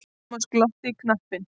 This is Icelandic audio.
Thomas glotti í kampinn.